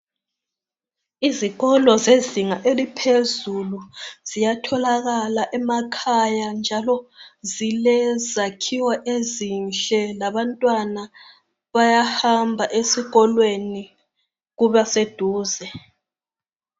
Izikolo zezinga eliphezulu ziyatholakala ziyatholakala emakhaya njalo zilezakhiwo ezinhle, labantwana bayahamba, ezikolweni kuba seduze.